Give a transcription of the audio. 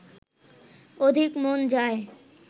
অধিক মন যায়